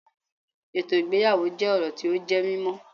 Ètò ìgbéyàwó jẹ́ orò tí ó jẹ́ mímó